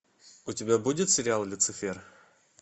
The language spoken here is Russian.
у тебя будет сериал люцифер